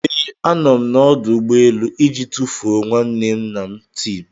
Ee, a nọ m n'ọdụ ụgbọ elu iji tufuo nwanne nna Tim